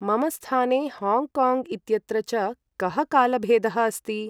मम स्थाने हॉङ्गकाङ्ग् इत्यत्र च कः कालभेदः अस्ति ?